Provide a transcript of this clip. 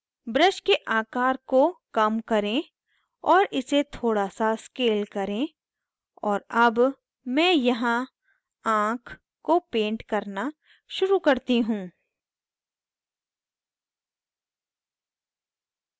brush के आकर को कम करें और इसे थोड़ा सा scale करें और अब मैं यहाँ आँख को paint करना शुरू करती हूँ